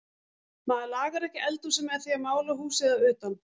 Maður lagar ekki eldhúsið með því að mála húsið að utan.